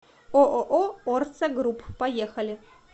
ооо орсо групп поехали